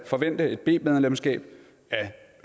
forvente et b medlemsskab af